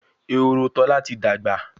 Ehoro Tola tí dagba